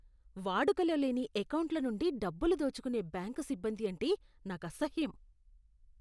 వాడుకలో లేని ఎకౌంట్ల నుండి డబ్బులు దోచుకునే బ్యాంకు సిబ్బంది అంటే నాకసహ్యం.